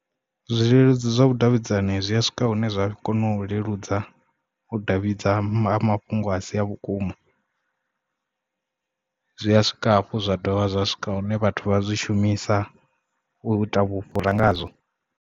Zwileludzi zwa vhudavhidzani zwi a swika hune zwa kona u leludza u davhidzana ha mafhungo a si a vhukuma zwi a swika hafhu zwa dovha zwa swika hune vhathu vha zwi shumisa u ita vhufhura nga zwo.